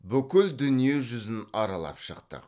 бүкіл дүниежүзін аралап шықтық